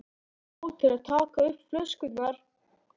Já, til að taka upp flöskuna